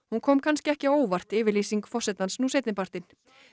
hún kom ekki á óvart yfirlýsing forsetans nú seinni partinn